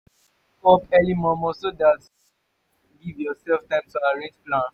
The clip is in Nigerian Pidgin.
wake up early momo so dat you go fit giv urself time to arrange plans